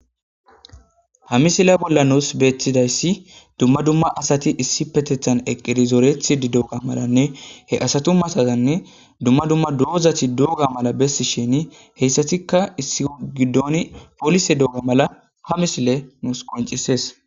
ha misile bolla nuus beettidayssi dumma dumma asati issi petethan eqqidi zoorethi dooga malanne he asatu masazanne dumma dumma doozati douga mala bessi shini heyssatikka issi gidooni poolise dooga mala ha misile nuus qoncisees